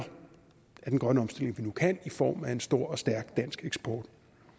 af den grønne omstilling vi nu kan i form af en stor og stærk dansk eksport